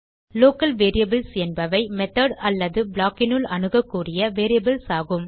local variables என்பவை method அல்லது blockனுள் அணுகக்கூடிய வேரியபிள்ஸ் ஆகும்